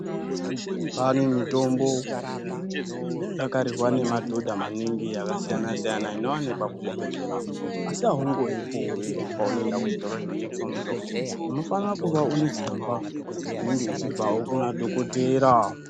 Kwane mitombo dzinodakarirwa ngemadhodha maningi akasiyana siyana inowanikwa kuzvibhedhlera asi awungoyipuwi paunoenda kuchitoro chinotengeswa mutombo unofanira kuve une tsamba inobvawo kuna dhokotera.